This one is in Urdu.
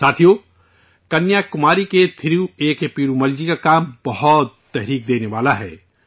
ساتھیو، کنیا کماری کے تھیرو اے کے پیرومل جی کا کام بھی کافی متاثر کرنے والا ہے